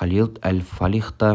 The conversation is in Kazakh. халид әл-фалих та